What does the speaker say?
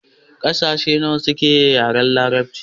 Ƙasashe nawa suke yin yaren larabci?